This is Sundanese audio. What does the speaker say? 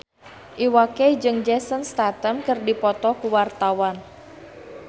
Iwa K jeung Jason Statham keur dipoto ku wartawan